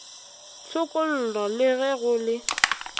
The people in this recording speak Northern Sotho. tshokollo le ge go le